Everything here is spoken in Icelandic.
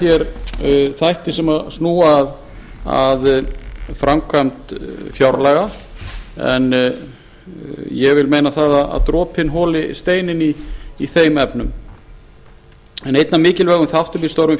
ég ítreka nú þætti sem snúa að framkvæmd fjárlaga en ég tel að dropinn holi steininn í þeim efnum einn af mikilvægum þáttum í störfum